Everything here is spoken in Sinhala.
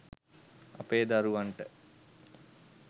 අපේ දරුවන්ට